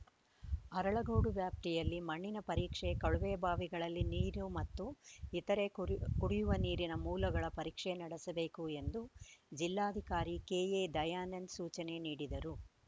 ಅರಳಗೋಡು ವ್ಯಾಪ್ತಿಯಲ್ಲಿ ಮಣ್ಣಿನ ಪರೀಕ್ಷೆ ಕೊಳವೆ ಬಾವಿಗಳ ನೀರು ಮತ್ತು ಇತರೆ ಕುಡಿಯುವ ನೀರಿನ ಮೂಲಗಳ ಪರೀಕ್ಷೆ ನಡೆಸಬೇಕು ಎಂದು ಜಿಲ್ಲಾಧಿಕಾರಿ ಕೆಎ ದಯಾನಂದ ಸೂಚನೆ ನೀಡಿದರು